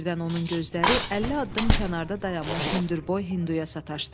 Birdən onun gözləri 50 addım kənarda dayanmış hündür boy Hinduya sataşdı.